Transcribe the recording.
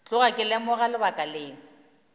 tloga ke lemoga lebaka leo